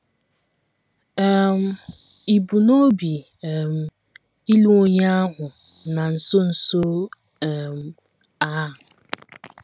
um Ì bu n’obi um ịlụ onye ahụ na nso nso um a?